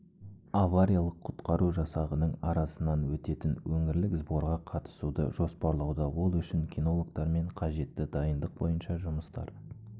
авариялық-құтқару жасағының арасынан өтетін өңірлік сборға қатысуды жоспарлауда ол үшін кинологтармен қажетті дайындық бойынша жұмыстар